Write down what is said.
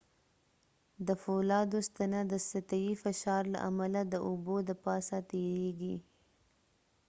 د فولادو ستنه د سطحي فشار له امله د اوبو د پاسه تيريږي